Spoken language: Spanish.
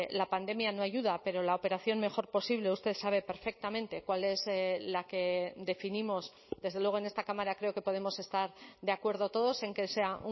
la pandemia no ayuda pero la operación mejor posible usted sabe perfectamente cuál es la que definimos desde luego en esta cámara creo que podemos estar de acuerdo todos en que sea